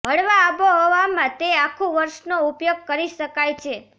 હળવા આબોહવામાં તે આખું વર્ષનો ઉપયોગ કરી શકાય છે